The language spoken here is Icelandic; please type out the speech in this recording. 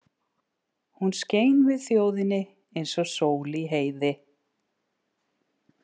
Hún skein við þjóðinni eins og sól í heiði.